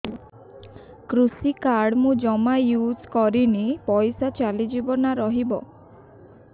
କୃଷି କାର୍ଡ ମୁଁ ଜମା ୟୁଜ଼ କରିନି ପଇସା ଚାଲିଯିବ ନା ରହିବ